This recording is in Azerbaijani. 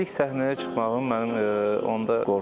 İlk səhnəyə çıxmağım mənim onda qorxurdum.